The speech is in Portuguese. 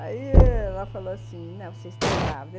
Aí ela falou assim, né, você está grávida.